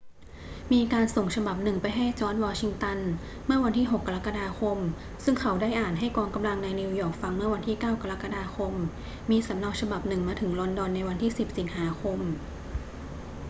มีการส่งฉบับหนึ่งไปให้จอร์จ วอชิงตัน เมื่อวันที่ 6 กรกฎาคม ซึ่งเขาได้อ่านให้กองกำลังในนิวยอร์กฟังเมื่อวันที่ 9 กรกฎาคม มีสำเนาฉบับหนึ่งมาถึงลอนดอนในวันที่ 10 สิงหาคม